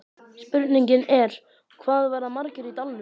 Spurningin er, hvað verða margir í dalnum?